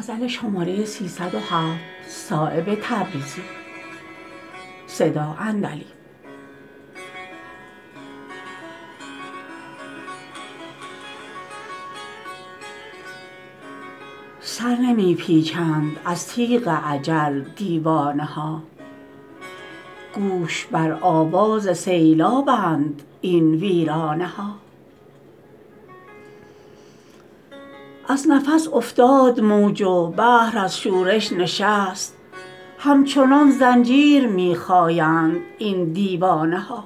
سر نمی پیچند از تیغ اجل دیوانه ها گوش بر آواز سیلابند این ویرانه ها از نفس افتاد موج و بحر از شورش نشست همچنان زنجیر می خایند این دیوانه ها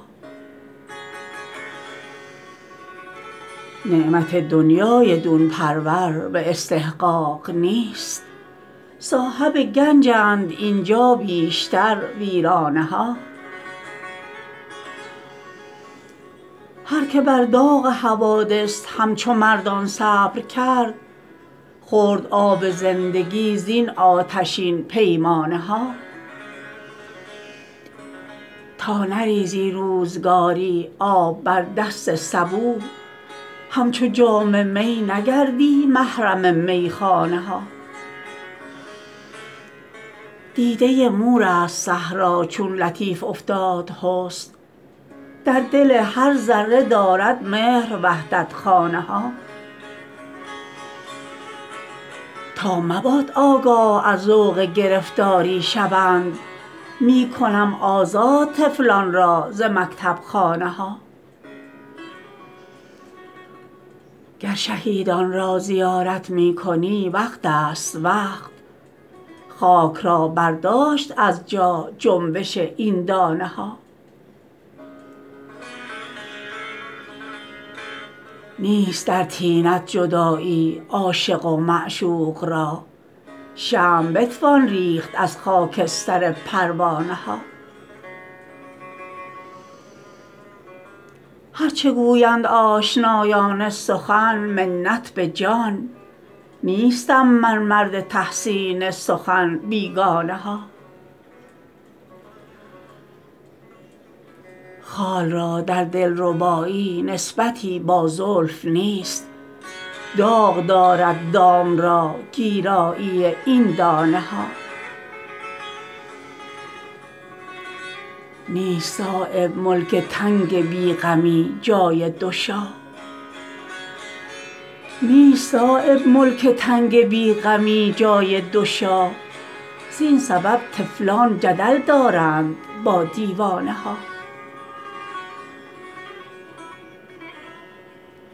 نعمت دنیای دون پرور به استحقاق نیست صاحب گنجند اینجا بیشتر ویرانه ها هرکه بر داغ حوادث همچو مردان صبر کرد خورد آب زندگی زین آتشین پیمانه ها تا نریزی روزگاری آب بر دست سبو همچو جام می نگردی محرم میخانه ها دیده مورست صحرا چون لطیف افتاد حسن در دل هر ذره دارد مهر وحدت خانه ها تا مباد آگاه از ذوق گرفتاری شوند می کنم آزاد طفلان را ز مکتب خانه ها گر شهیدان را زیارت می کنی وقت است وقت خاک را برداشت از جا جنبش این دانه ها نیست در طینت جدایی عاشق و معشوق را شمع بتوان ریخت از خاکستر پروانه ها هرچه گویند آشنایان سخن منت به جان نیستم من مرد تحسین سخن بیگانه ها خال را در دلربایی نسبتی با زلف نیست داغ دارد دام را گیرایی این دانه ها نیست صایب ملک تنگ بی غمی جای دو شاه زین سبب طفلان جدل دارند با دیوانه ها